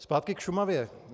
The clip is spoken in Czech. Zpátky k Šumavě.